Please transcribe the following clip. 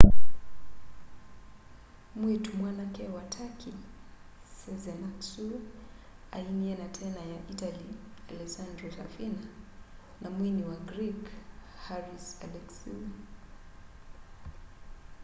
mwiitu mwanake wa turkey sezen aksu ainie na tena ya itali alessandro safina na mwini wa greek haris alexiou